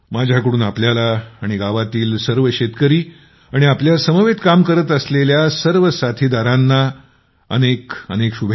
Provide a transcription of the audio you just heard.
माझ्याकडून आपल्याला आणि गावातील सर्व शेतकरी आणि आपल्यासमवेत काम करत असलेल्या सर्व साधीदारांना माझ्याकडून खूप खूप शुभेच्छा